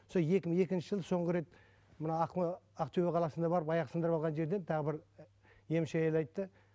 сол екі мың екінші жылы соңғы рет мына ақтөбе қаласына барып аяқ сындырып алған жерден тағы бір емші әйел айтты